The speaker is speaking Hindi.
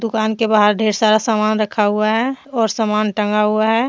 दुकान के बाहर ढेर सारा सामान रखा हुआ है और सामान टंगा हुआ है।